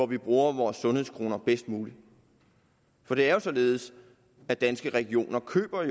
vi bruger vores sundhedskroner bedst muligt for det er jo således at danske regioner køber